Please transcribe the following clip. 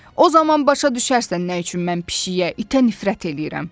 O zaman başa düşərsən nə üçün mən pişikə, itə nifrət eləyirəm.